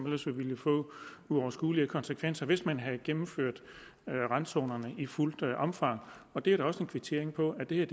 ellers ville få uoverskuelige konsekvenser hvis man havde gennemført randzonerne i fuldt omfang og det er da også en kvittering for at det her